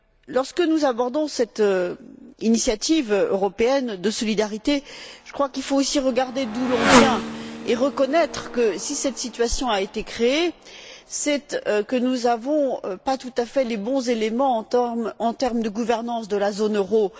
Lorsque nous abordons cette initiative européenne de solidarité, je crois qu'il faut aussi regarder d'où l'on vient et reconnaître que, si cette situation a été créée, c'est que nous n'avons pas tout à fait les bons éléments en termes de gouvernance de la zone euro.